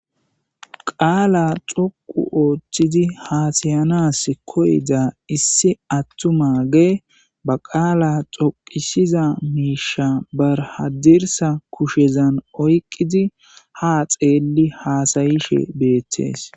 qaala xoqu ooththidi haasayanas koyda issi attumage ba qaala xoqisiza miisha barhadirsa kushezan oyqqidi ha xeelli haasayishe beettees